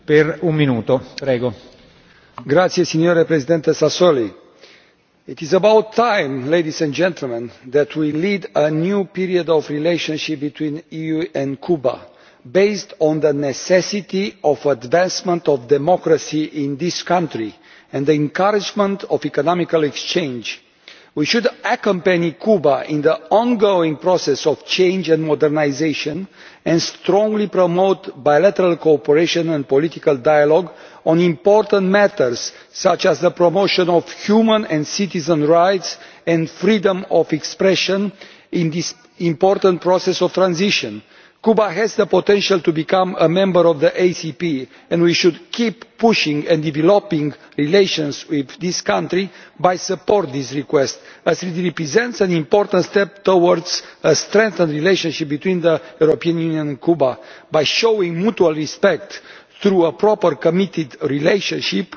Mr President, it is about time we ushered in a new period in EU Cuba relations, based on the necessity of advancement of democracy in this country and the encouragement of economic exchange. We should accompany Cuba in the ongoing process of change and modernisation and strongly promote bilateral cooperation and political dialogue on important matters such as the promotion of human and citizens' rights and freedom of expression in this important process of transition. Cuba has the potential to become a member of the ACP, and we should keep pushing and developing relations with this country by supporting this request, as it represents an important step towards a strengthened relationship between the European Union and Cuba by showing mutual respect through a proper committed relationship.